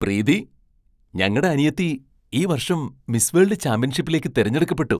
പ്രീതി! ഞങ്ങടെ അനിയത്തി ഈ വർഷം മിസ് വേൾഡ് ചാമ്പ്യൻഷിപ്പിലേക്ക് തിരഞ്ഞെടുക്കപ്പെട്ടു!